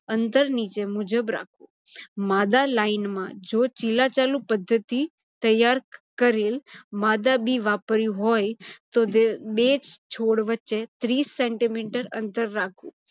અંતર નીચે મુજબ રાખવું. માદા line માં જો ચિલ્લા-ચાલું પદ્ધતિ તૈયાર કરેલ માદા બી વાપર્યુ હોય તો બે છોડ વચ્ચે ત્રીસ centimeter અંતર રાખવુ